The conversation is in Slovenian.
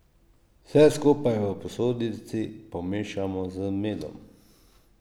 Vse skupaj v posodici pomešamo z medom.